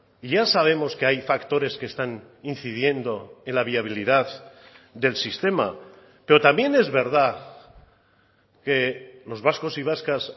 y ya sabemos que hay factores que están incidiendo en la viabilidad del sistema pero también es verdad que los vascos y vascas